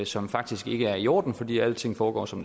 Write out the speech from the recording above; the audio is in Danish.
som faktisk ikke er i orden fordi alting foregår som